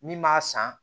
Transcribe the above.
Min b'a san